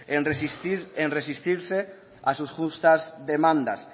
en resistirse a sus justas demandas